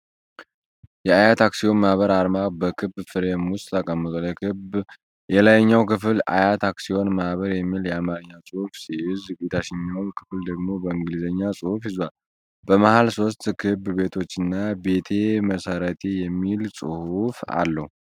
የዓያት አክሲዮን ማኅበር አርማ በክብ ፍሬም ውስጥ ተቀምጧል። የክቡ የላይኛው ክፍል "ዓያት አክሲዮን ማኅበር" የሚል የአማርኛ ጽሑፍ ሲይዝ፣ የታችኛው ክፍል ደግሞ በእንግሊዝኛ ጽሑፍ ይዟል። በመሃል ሦስት ክብ ቤቶችና "ቤቴ መሠረቴ" የሚል ጽሑፍ አለ።